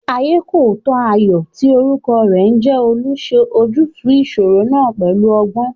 Ayékòótọ́ Ayọ̀ tí orúkọ rẹ̀ ń jẹ́ Olú ṣe ojútùú ìṣòro náà pẹ̀lú ọgbọ́n